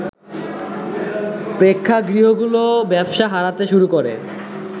প্রেক্ষাগৃহগুলো ব্যবসা হারাতে শুরু করে